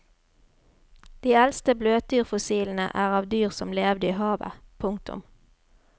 De eldste bløtdyrfossilene er av dyr som levde i havet. punktum